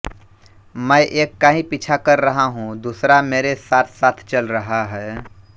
मैं एक का ही पीछा कर रहा हूँ दूसरा मेरे साथसाथ चल रहा है